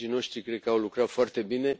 Colegii noștri cred că au lucrat foarte bine.